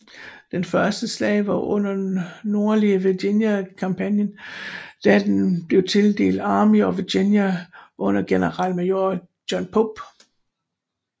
Dens første slag var under Nordlige Virginia kampagnen da den blev tildelt Army of Virginia under generalmajor John Pope